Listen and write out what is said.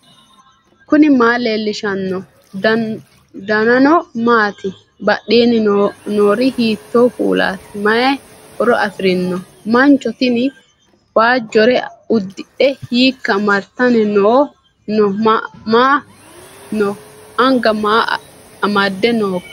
knuni maa leellishanno ? danano maati ? badheenni noori hiitto kuulaati ? mayi horo afirino ? mancho tini waajjore uddidhe hiika martanni no anga ma amadde nooika